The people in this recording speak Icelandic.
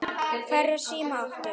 Hvernig síma áttu?